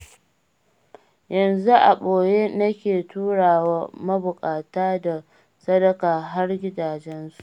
Yanzu a ɓoye nake turawa mabuƙata da sadaka har gidajensu.